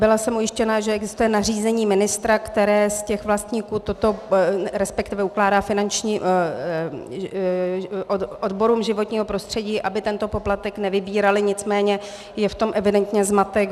Byla jsem ujištěna, že existuje nařízení ministra, které z těch vlastníků toto, respektive ukládá finančním... odborům životního prostředí, aby tento poplatek nevybíraly, nicméně je v tom evidentně zmatek.